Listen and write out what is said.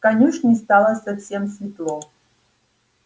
в конюшне стало совсем светло